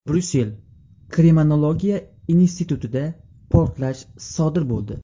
Bryussel Kriminologiya institutida portlash sodir bo‘ldi.